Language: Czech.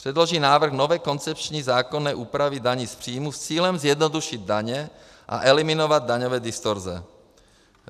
Předloží návrh nové koncepční zákonné úpravy daně z příjmů s cílem zjednodušit daně a eliminovat daňové distorze.